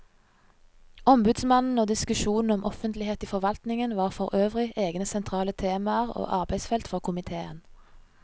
Ombudsmannen og diskusjonen om offentlighet i forvaltningen var forøvrig egne sentrale temaer og arbeidsfelt for komiteen.